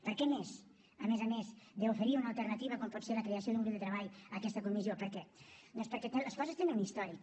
per què més a més a més d’oferir una alternativa com pot ser la creació d’un grup de treball a aquesta comissió per què doncs perquè les coses tenen un històric